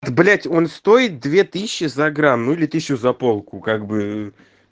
блядь он стоит две тысячи за грамм ну или тысячу за полку как бы